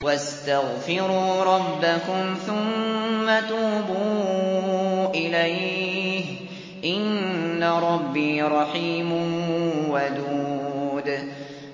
وَاسْتَغْفِرُوا رَبَّكُمْ ثُمَّ تُوبُوا إِلَيْهِ ۚ إِنَّ رَبِّي رَحِيمٌ وَدُودٌ